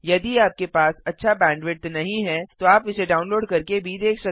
यदि आपके पास अच्छा बैंडविड्थ नहीं है तो आप इसे डाउनलोड करके भी देख सकते हैं